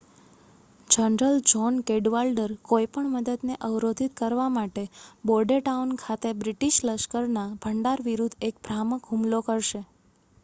general John Cadwalader કોઈપણ મદદને અવરોધિત કરવા માટે બોર્ડેટાઉન ખાતે બ્રિટીશ લશ્કરના ભંડાર વિરુદ્ધ એક ભ્રામક હુમલો કરશે